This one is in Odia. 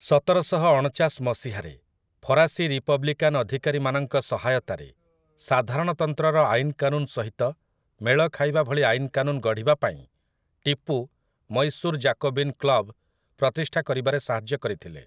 ସତରଶହଅଣଚାଶ ମସିହାରେ ଫରାସୀ ରିପବ୍ଲିକାନ୍ ଅଧିକାରୀମାନଙ୍କ ସହାୟତାରେ ସାଧାରଣତନ୍ତ୍ରର ଆଇନକାନୁନ ସହିତ ମେଳ ଖାଇବା ଭଳି ଆଇନକାନୁନ ଗଢ଼ିବାପାଇଁ ଟିପୁ ମୈଶୂର ଜାକୋବିନ୍ କ୍ଲବ୍‌ ପ୍ରତିଷ୍ଠା କରିବାରେ ସାହାଯ୍ୟ କରିଥିଲେ ।